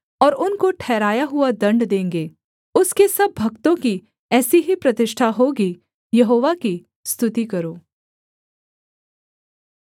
और उनको ठहराया हुआ दण्ड देंगे उसके सब भक्तों की ऐसी ही प्रतिष्ठा होगी यहोवा की स्तुति करो